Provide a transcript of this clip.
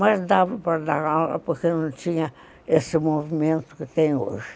Mas dava para dar aula porque não tinha esse movimento que tem hoje.